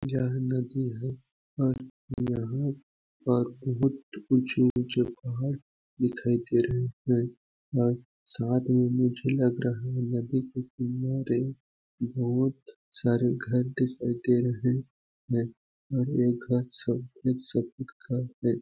यह नदी है और यहाँ पर बहुत ऊचे-ऊचे पहाड़ दिखाई दे रहे है और साथ में मुझे लग रहा है नदी के किनारे बहुत सारे घर दिखाई दे रहे है और ये घर सब का हैं।